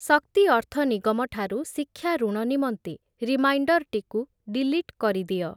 ଶକ୍ତି ଅର୍ଥ ନିଗମ ଠାରୁ ଶିକ୍ଷା ଋଣ ନିମନ୍ତେ ରିମାଇଣ୍ଡର୍‌ଟିକୁ ଡିଲିଟ୍ କରିଦିଅ ।